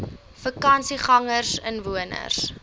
vakansiegangersinwoners